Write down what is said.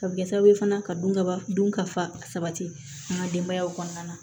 A bɛ kɛ sababu ye fana ka don kaba dun ka fa sabati an ka denbayaw kɔnɔna na